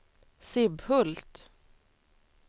Sibbhult